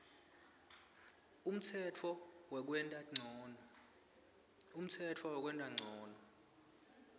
umtsetfo wekwenta ncono